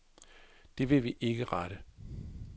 Det vil vi ikke rette.